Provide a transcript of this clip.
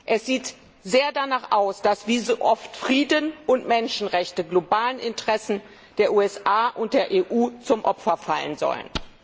Es sieht sehr danach aus, dass wie so oft Frieden und Menschenrechte globalen Interessen der USA und der EU zum Opfer fallen sollen.